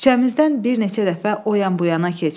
Küçəmizdən bir neçə dəfə o yan-bu yana keç.